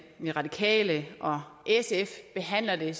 de radikale og sf behandler det